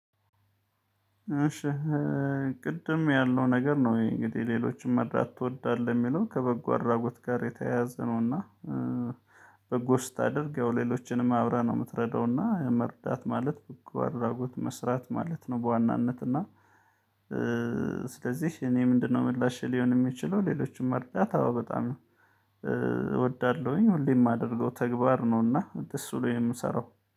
እሺ ቅድም ያለው ነገር ነው እንግዲህ ሌሎችም መርዳት ትወዳለህ የሚለውን ከበጎ አድራጎት ጋር የተያያዘ ነውና። በጎ ስታደርግ ያው ሌሎችንም አብረህ ነው የምትረዳውና መርዳት ማለት እኮ አድራጎት መስራት ማለት ነው። በዋናነትና ስለዚህ እኔ ምንድነው ምላሽ ሊሆን የሚችለው ሌሎችም አርዳታ በጣም ነው? እወዳለሁኝ ሁሌም የማደርገው ተግባር ነውና እንደሱ ነው የምሰራው